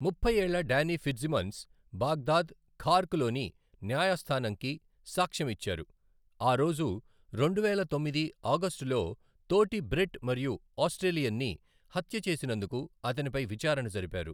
ముప్పై ఏళ్ల Danny Fitzsimmons, Baghdad, Karkh లోని న్యాయస్థానంకి సాక్ష్యం ఇచ్చారు, ఆ రోజు రెండువేల తొమ్మిది ఆగస్ట్ లో తోటి బ్రిట్ మరియు ఆస్ట్రేలియన్ని హత్య చేసినందుకు అతనిపై విచారణ జరిపారు.